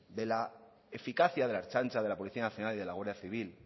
de la eficacia de la ertzaintza de la policía nacional y de la guardia civil